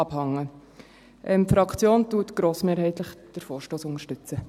Die Fraktion unterstützt den Vorstoss grossmehrheitlich.